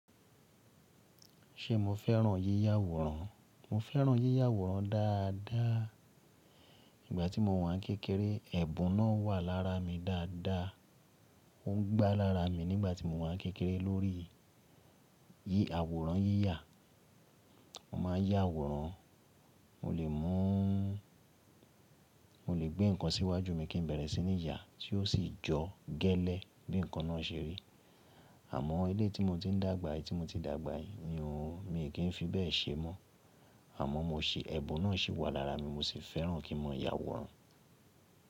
Ṣé mo fẹ́ràn yíyà àwòrán? Mo fẹ́ràn yíyà àwòrán dáadáa. Ìgbà tí mo wà n kékeré, ẹ̀bùn náà wà lára mi dáadáa, ó ń gbá lára mi nígbà tí mo wà kékeré lórí i. Yí àwòrán yíyà, mo máa yá àwòrán, mo lè mú, mo lè gbé nǹkan síwájú mi kín bẹ̀rẹ̀ sí ní yà, tí ó sì jọ gẹ́lẹ́ bí nǹkan náà ṣe rí. Àmọ́ eleyii tí. Mo ti ń dàgbà, tí mo ti dàgbà ni òun, mi kì í fi bẹ́ẹ̀ ṣe mọ́. Àmọ́ mo ṣi, ẹ̀bùn náà si wà lára mi mo sì fẹ́ràn kín máa yà àwòrán.